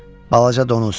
Balaca donuz.